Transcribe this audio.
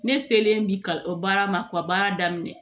Ne selen bi ka o baara ma ka baara daminɛ